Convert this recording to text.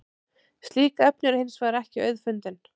slík efni eru hins vegar ekki auðfundin